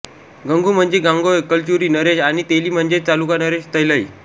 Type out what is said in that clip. गंगू म्हणजे गांगेय कलचुरि नरेश आणि तेली म्हणजेच चालुका नरेश तैलय